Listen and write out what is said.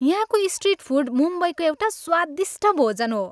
यहाँको street food मुम्बईको एउटा स्वादिष्ट भोजन हो।